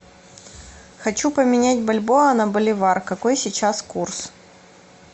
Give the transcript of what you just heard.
хочу поменять бальбоа на боливар какой сейчас курс